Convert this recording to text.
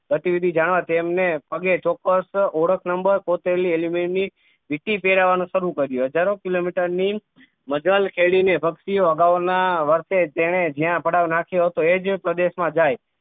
પ્રતિવિધિ જાણવા તેમણે પગે ચોક્કસ ઓળખ number કોતરેલી alumen ની વિટી પેહરાવાનું શરૂ કર્યું હજારો કિલોમીટર ની મજા કેળવીને પક્ષી ઑ અગાઉ ના વર્ષે તેને જયા પડાવ નાખ્યો હતો એ જ પ્રદેશ માં જાય